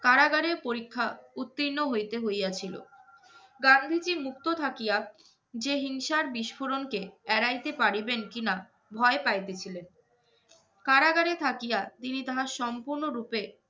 কারাগারের পরীক্ষা উত্তীর্ণ হইতে হইয়াছিল। গান্ধীজী মুক্ত থাকিয়া যে হিংসার বিস্ফোরণকে এড়াইতে পারিবেন কি-না ভয় পাইতেছিলেন, কারাগারে থাকিয়া তিনি তাহার সম্পূর্ণ রূপে